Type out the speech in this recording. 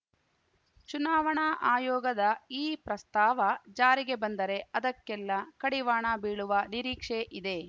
ಚುನಾವಣಾ ಆಯೋಗದ ಈ ಪ್ರಸ್ತಾವ ಜಾರಿಗೆ ಬಂದರೆ ಅದಕ್ಕೆಲ್ಲಾ ಕಡಿವಾಣ ಬೀಳುವ ನಿರೀಕ್ಷೆ ಇದೆ